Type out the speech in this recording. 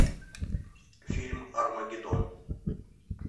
фильм армагеддон